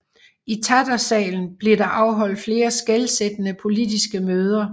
I Tattersalen blev der afholdt flere skelsættende politiske møder